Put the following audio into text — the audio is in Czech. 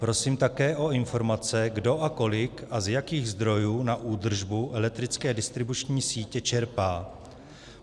Prosím také o informace, kdo a kolik a z jakých zdrojů na údržbu elektrické distribuční sítě čerpá.